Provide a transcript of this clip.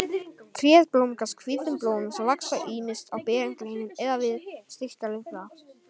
Tréð blómgast hvítum blómum sem vaxa ýmist á berum greinunum eða við stilk laufblaða.